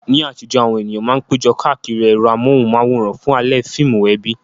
Ní àtijọ́, àwọn ènìyàn máa ń péjọ káàkiri ẹ̀rọ amóhùnmáwòrán fún alẹ́ fíìmù ẹbí.